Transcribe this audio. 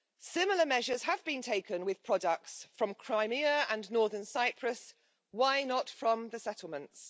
Similar measures have been taken with products from Crimea and Northern Cyprus why not from the settlements?